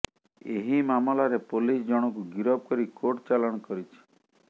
ଏହି ମାମଲାରେ ପୋଲିସ ଜଣଙ୍କୁ ଗିରଫ କରି କୋର୍ଟ ଚାଲାଣ କରିଛି